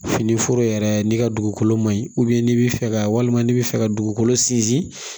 Fini foro yɛrɛ n'i ka dugukolo ma ɲi n'i bɛ fɛ ka walima n'i bi fɛ ka dugukolo sinsin